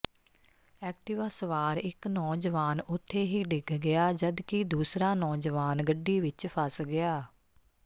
Activa ਸਵਾਰ ਇੱਕ ਨੌਜਵਾਨ ਉੱਥੇ ਹੀ ਡਿੱਗ ਗਿਆ ਜਦਕਿ ਦੂਸਰਾ ਨੌਜਵਾਨ ਗੱਡੀ ਵਿੱਚ ਫਸ ਗਿਆ